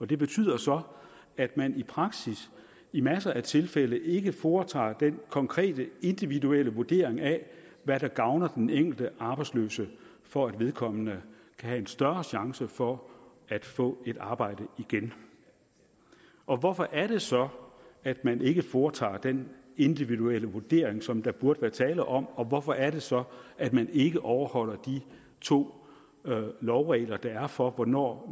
det betyder så at man i praksis i masser af tilfælde ikke foretager den konkrete individuelle vurdering af hvad der gavner den enkelte arbejdsløse for at vedkommende kan have en større chance for at få et arbejde igen og hvorfor er det så at man ikke foretager den individuelle vurdering som der burde være tale om og hvorfor er det så at man ikke overholder de to lovregler der er for hvornår